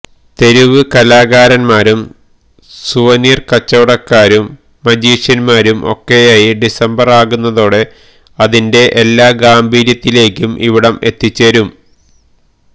തെരുവ് കലാകാരന്മാരും സുവനീര് കച്ചവടക്കാരും മജീഷ്യന്മാരും ഒക്കെയായി ഡിസംബര് ആകുന്നതോടെ അതിന്റെ എല്ലാ ഗംഭീര്യത്തിലേക്കും ഇവിടം എത്തിച്ചേരും